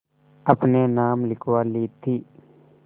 अपने नाम लिखवा ली थी